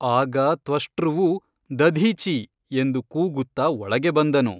ಆಗ ತ್ವಷ್ಟೃವು ದಧೀಚಿ ಎಂದು ಕೂಗುತ್ತ ಒಳಗೆ ಬಂದನು.